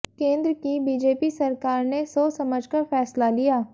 केंद्र की बीजेपी सरकार ने सोच समझकर फैसला लिया